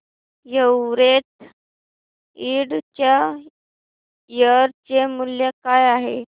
Everest Ind च्या share चे मूल्य काय आहे